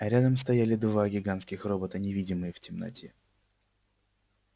а рядом стояли два гигантских робота невидимые в темноте